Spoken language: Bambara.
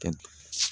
Ka